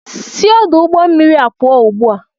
Si ọdụ ụgbọ mmiri a pụl ozugbo!